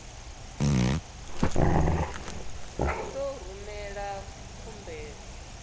u ḓo u rumela khumbelo